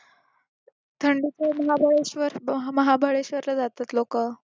थंडीतले महाबळेश्वरला जातात लोकं.